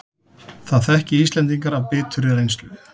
Það þekki Íslendingar af biturri reynslu